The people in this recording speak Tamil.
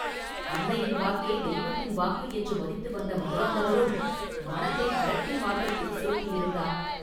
அன்னையின் வாக்கே தெய்வத்தின் வாக்கு என்று மதித்து வந்த மதுராந்தகரும் மனத்தை விரக்தி மார்க்கத்தில் செலுத்தியிருந்தார்.